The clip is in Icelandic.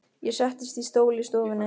Ég settist í stól í stofunni.